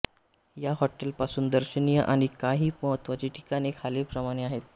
या हॉटेल पासून दर्शनीय आणि कांही महत्त्वाची ठिकाणे खालील प्रमाणे आहेत